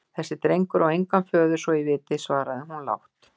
Þessi drengur á engan föður svo ég viti, svaraði hún lágt.